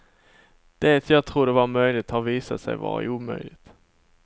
Det jag trodde vara möjligt har visat sig vara omöjligt.